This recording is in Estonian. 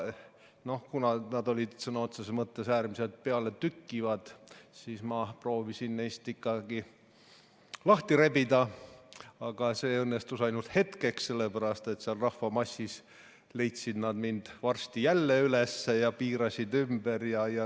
Kuna nad olid sõna otseses mõttes äärmiselt pealetükkivad, siis ma proovisin ennast ikkagi neist lahti rebida, aga see õnnestus ainult hetkeks, sellepärast et seal rahvamassis leidsid nad mind varsti jälle üles ja piirasid ümber.